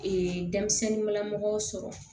denmisɛnninmamɔgɔw sɔrɔ